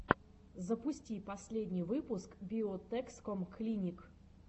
запусти последний выпуск биотэкском клиник